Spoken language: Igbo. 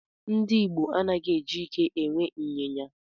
Ndị Igbo anaghị eji ike e nwe ịnyịnya.